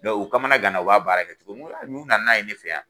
u kamana ganna u b'a baara kɛ cogo min n ko a n'u nana n'a ye ne fɛ yan